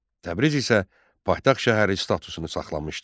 Təbriz isə paytaxt şəhəri statusunu saxlamışdı.